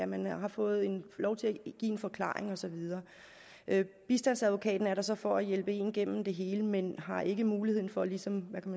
man har fået lov til at give en forklaring og så videre bistandsadvokaten er der så for at hjælpe en igennem det hele men har ikke muligheden for ligesom